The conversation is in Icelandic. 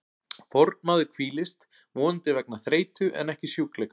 Fornmaður hvílist, vonandi vegna þreytu en ekki sjúkleika.